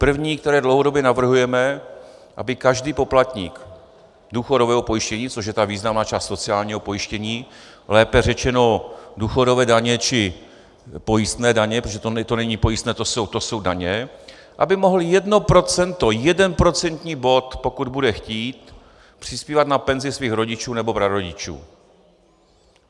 První, které dlouhodobě navrhujeme, aby každý poplatník důchodového pojištění, což je ta významná část sociálního pojištění, lépe řečeno důchodové daně či pojistné daně, protože to není pojistné, to jsou daně, aby mohl jedno procento, jeden procentní bod, pokud bude chtít, přispívat na penzi svých rodičů nebo prarodičů.